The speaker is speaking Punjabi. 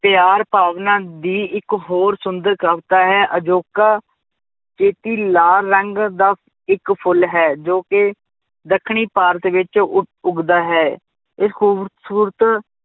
ਪਿਆਰ ਭਾਵਨਾ ਦੀ ਇੱਕ ਹੋਰ ਸੁੰਦਰ ਕਵਿਤਾ ਹੈ ਅਜੋਕਾ ਲਾਲ ਰੰਗ ਦਾ ਇੱਕ ਫੁੱਲ ਹੈ ਜੋ ਕਿ ਦੱਖਣੀ ਭਾਰਤ ਵਿੱਚ ਉੱਘ~ ਉੱਘਦਾ ਹੈ, ਇਸ ਖੂਬਸ਼ੂਰਤ